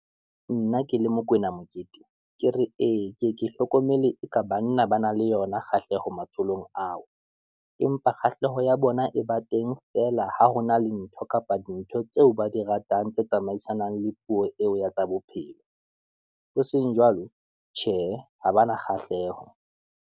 Nna ke le Mokoena Mokete, ke re ee ke ke hlokomele eka banna ba na le yona kgahleho matsholong ao, empa kgahleho ya bona e ba teng feela, hona le ntho kapa dintho tseo ba di ratang tse tsamaisanang le puo eo ya tsa bophelo. Hoseng jwalo Tjhe, ha ba na kgahleho.